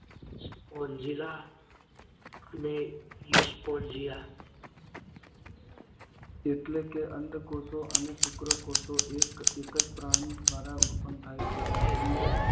સ્પોંશિલા અને પુસ્પોંજિન એટલે કે અંડકોષો અને શુક્રકોષો એક જ પ્રાણી દ્વારા ઉત્પન્ન થાય છે. વાદળીઓ